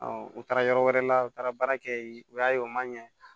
u taara yɔrɔ wɛrɛ la u taara baara kɛ yen u y'a ye u man ɲɛ